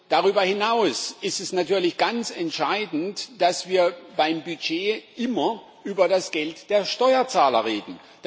Darüber hinaus ist es natürlich ganz entscheidend, dass wir beim Budget immer über das Geld der Steuerzahler reden.